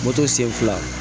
Moto sen fila